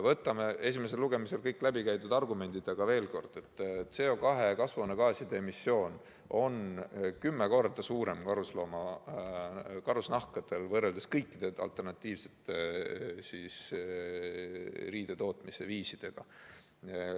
Võtame veel kord esimesel lugemisel läbi käidud argumendid: CO2 ehk kasvuhoonegaaside emissioon on karusnaha tootmisel võrreldes kõikide alternatiivsete riidetootmisviisidega suurem.